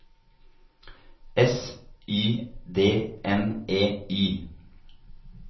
S Y D N E Y